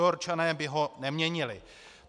Newyorčané by ho neměnili."